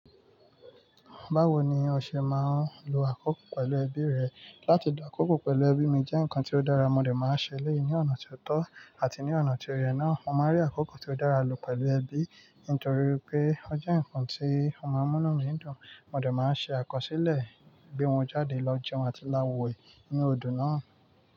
Báwo ni o ṣe máa ń lo àkókò pẹ̀lú ẹbí rẹ? Látí di àkókò pẹ̀lú ẹbí mi jẹ́ ǹkan tí ó dára. Mo de máa ṣe eleyi ní ọ̀nà tí ó tọ́ àti ní ọ̀nà tí o yẹ̀ náà. Mo máa rí àkókò tí ó dára lò pẹ̀lú ẹbí nítorí pé ó jẹ́ ǹkan tí o màá múnu mí dùn. Mo dè máa ṣe àkọsílẹ̀, gbe won jáde lọ jẹun àti lá we ní nu odò náà.